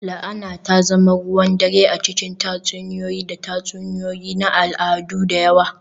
La'ana ta zama ruwan dare a cikin tatsuniyoyi da tatsuniyoyi na al'adu da yawa